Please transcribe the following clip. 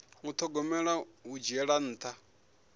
u thogomela hu dzhiela nṱha